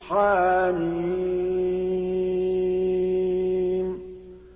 حم